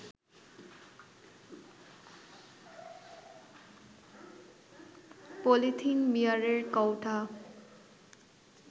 polythene, বিয়ারের কৌটা